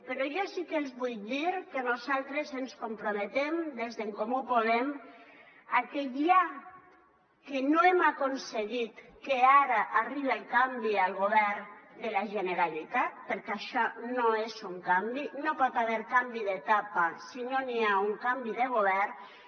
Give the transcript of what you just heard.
però jo sí que els vull dir que nosaltres ens comprometem des d’en comú podem a que ja que no hem aconseguit que ara arribe el canvi al govern de la generalitat perquè això no és un canvi no hi pot haver canvi d’etapa si no n’hi ha un canvi de govern